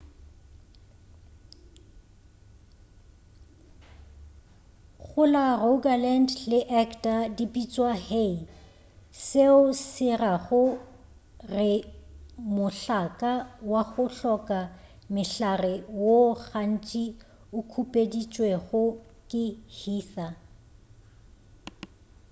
go la rogaland le agder di bitšwa hei seo se rago re mohlaka wa go hloka mehlare woo gantši o khupeditšwego ke heather